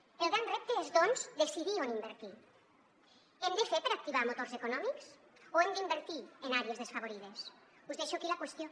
el gran repte és doncs decidir on invertir hem de fer per activar motors econòmics o hem d’invertir en àrees desfavorides us deixo aquí la qüestió